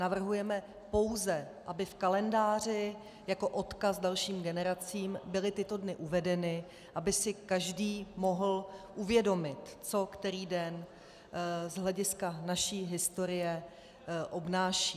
Navrhujeme pouze, aby v kalendáři jako odkaz dalším generacím byly tyto dny uvedeny, aby si každý mohl uvědomit, co který den z hlediska naší historie obnáší.